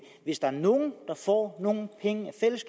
hvis der er nogen der får nogle penge